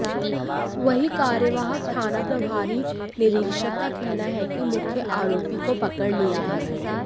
वहीं कार्यवाहक थाना प्रभारी निरीक्षक का कहना है कि मुख्य आरोपी को पकड़ लिया है